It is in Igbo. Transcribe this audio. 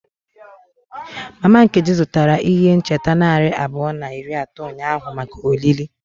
Mama Nkechi zụtara ihe ncheta narị abụọ na iri atọ ụnyahụ maka olili.